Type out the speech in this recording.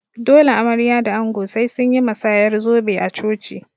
Dole amarya da ango sai sunyi masayar zobe a coci